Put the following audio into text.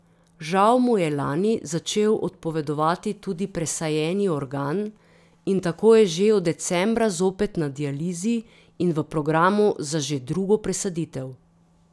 Žal mu je lani začel odpovedovati tudi presajeni organ in tako je že od decembra zopet na dializi in v programu za že drugo presaditev.